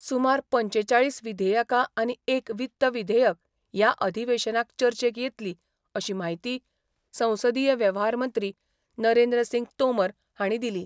सुमार पंचेचाळीस विधेयेका आनी एक वित्त विधेयक या अधिवेशनाक चर्चेक येतली अशी म्हायती संसदीय वेवहारमंत्री नरेंद्र सिंग तोमर हाणी दिली.